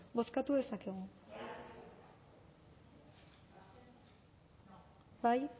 bozkatu dezakegu